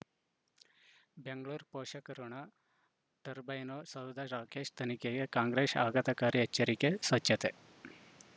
ಬೆಂಗಳೂರು ಪೋಷಕರಋಣ ಟರ್ಬೈನು ಸೌಧ ರಾಕೇಶ್ ತನಿಖೆಗೆ ಕಾಂಗ್ರೆಸ್ ಆಘಾತಕಾರಿ ಎಚ್ಚರಿಕೆ ಸ್ವಚ್ಛತೆ